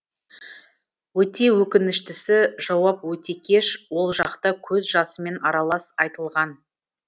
өте өкініштісі жауап өте кеш ол жоқта көз жасымен аралас айтылған